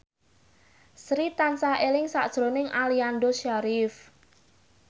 Sri tansah eling sakjroning Aliando Syarif